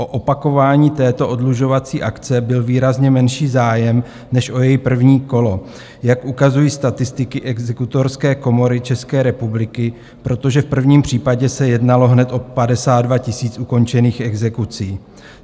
O opakování této oddlužovací akce byl výrazně menší zájem než o její první kolo, jak ukazují statistiky Exekutorské komory České republiky, protože v prvním případě se jednalo hned o 52 000 ukončených exekucí.